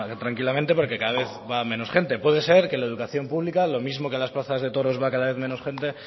tranquilamente porque cada vez va menos gente puede ser que la educación pública lo mismo que las plazas de toros va cada vez menos gente